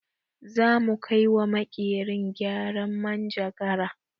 Za mu kai wa makerin gyaran manjagara